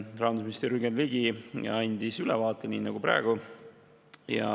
Rahandusminister Jürgen Ligi andis ülevaate, nii nagu ka praegu.